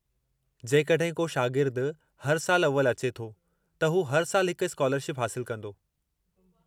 जेकॾहिं को शागिर्दु हर सालु अव्वल अचे थो, त हू हर साल हिकु स्कालरशिप हासिलु कंदो।